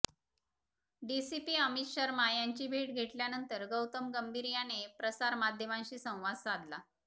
DCP Amit Sharma यांची भेट घेतल्यानंतर गौतम गंभीर याने प्रसारमाध्यमांशी संवाद साधला